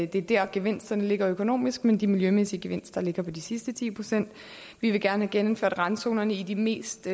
det er der gevinsterne ligger økonomisk men de miljømæssige gevinster ligger i de sidste ti procent vi vil gerne have genindført randzonerne i de mest